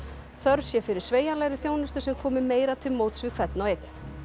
þörf sé fyrir sveigjanlegri þjónustu sem komi meira til móts við hvern og einn